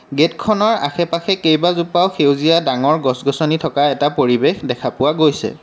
গেটখনৰ আশে-পাশে কেইবাজোপাও সেউজীয়া ডাঙৰ গছ-গছনি থকা এটা পৰিৱেশ দেখা পোৱা গৈছে।